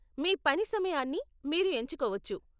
మీ పని సమయాన్ని మీరు ఎంచుకోవచ్చు.